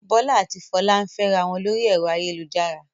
Bọ́lá a ti Folú ń fẹ́ra wọn lórí ẹ̀rọ ayélujára.